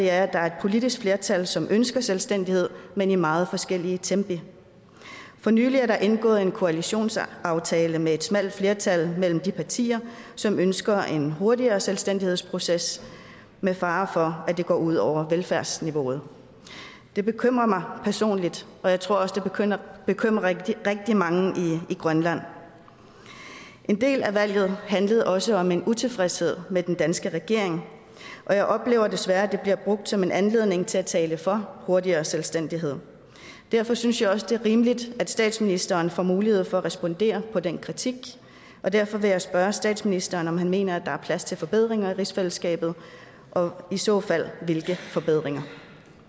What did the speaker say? er at der er et politisk flertal som ønsker selvstændighed men i meget forskellige tempi for nylig er der indgået en koalitionsaftale med et smalt flertal af de partier som ønsker en hurtigere selvstændighedsproces med fare for at det går ud over velfærdsniveauet det bekymrer mig personligt og jeg tror også det bekymrer rigtig mange i grønland en del af valget handlede også om en utilfredshed med den danske regering og jeg oplever desværre det bliver brugt som en anledning til at tale for hurtigere selvstændighed derfor synes jeg også det er rimeligt at statsministeren får mulighed for at respondere på den kritik og derfor vil jeg spørge statsministeren om han mener der er plads til forbedringer i rigsfællesskabet og i så fald hvilke forbedringer